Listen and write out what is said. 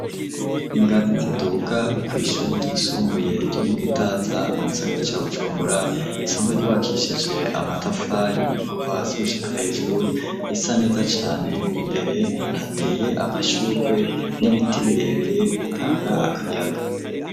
Ingazi ziduga kw'ishuri ryisumbuye, ryo mu Gitaza mu gisagara ca Bujumbura, risanzwe ryubakishije amatafari kuva hasi gushika hejuru, risa neza cane; imbere hateye amashurwe n'ibiti birebire bitanga akayaga.